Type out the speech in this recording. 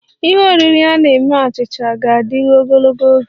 Ihe oriri a na-eme achịcha ga-adịru ogologo oge